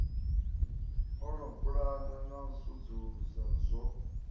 pulana na u sedzulusa zwo